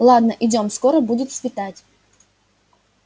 ладно идём скоро будет светать